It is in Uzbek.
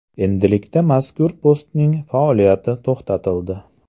Endilikda mazkur postning faoliyati to‘xtatildi.